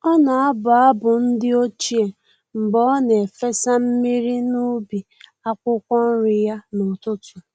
Ọ na-abụ abụ ndi ochie mgbe ọ na-efesa mmiri n’ubi akwukwo nri ya n’ụtụtụ.